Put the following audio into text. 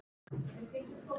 Ég verð að finna biskup!